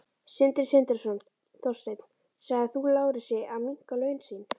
Sindri Sindrason: Þorsteinn, sagðir þú Lárusi að minnka laun sín?